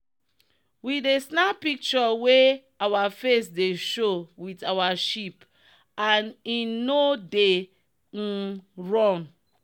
we dey snap picture wey our face dey show with our sheep and e no dey um run.